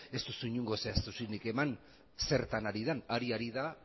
ez duzu inongo zehaztasunik eman zertan ari den ari ari da